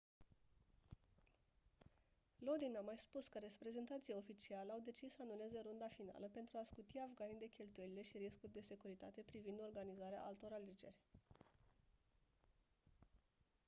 lodin a mai spus că reprezentanții oficiali au decis să anuleze runda finală pentru a scuti afganii de cheltuielile și riscul de securitate privind organizarea altor alegeri